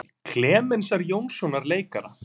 Klemensar Jónssonar leikara.